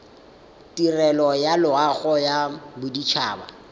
tirelo ya loago ya bodit